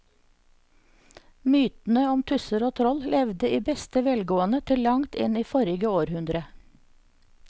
Mytene om tusser og troll levde i beste velgående til langt inn i forrige århundre.